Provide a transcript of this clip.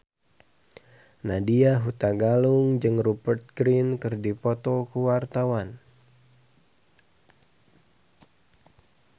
Nadya Hutagalung jeung Rupert Grin keur dipoto ku wartawan